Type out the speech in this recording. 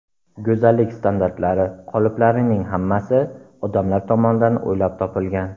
Go‘zallik standartlari, qoliplarining hammasi odamlar tomonidan o‘ylab topilgan.